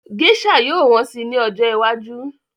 Gésà yóò wọ́n si ní ọjọ́ iwájú